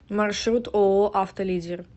маршрут ооо авто лидер